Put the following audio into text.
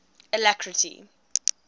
alacrity